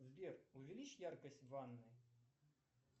сбер увеличь яркость в ванной